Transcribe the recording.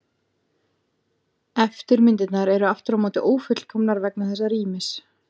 Eftirmyndirnar eru aftur á móti ófullkomnar vegna þessa rýmis.